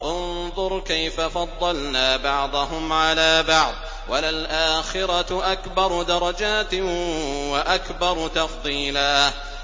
انظُرْ كَيْفَ فَضَّلْنَا بَعْضَهُمْ عَلَىٰ بَعْضٍ ۚ وَلَلْآخِرَةُ أَكْبَرُ دَرَجَاتٍ وَأَكْبَرُ تَفْضِيلًا